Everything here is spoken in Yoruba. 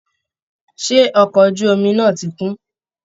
Ṣé ọkọ̀ ojú omi náà ti kún?